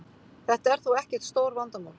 Þetta er þó ekkert stórvandamál